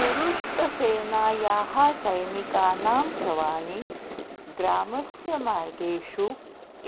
तुरुष्कसेनायाः सैनिकानां शवानि ग्रामस्य मार्गेषु